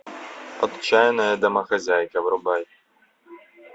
отчаянная домохозяйка врубай